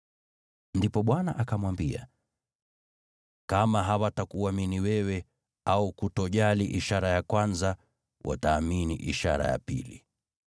Ndipo Bwana akamwambia, “Kama hawatakuamini wewe, au kutojali ishara ya kwanza, wataamini ishara ya pili.